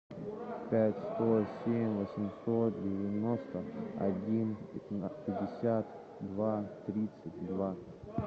пять сто семь восемьсот девяносто один пятьдесят два тридцать два